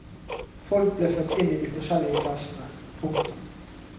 Folk ble født inn i de forskjellige klassene. punktum